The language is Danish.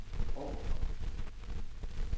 overfor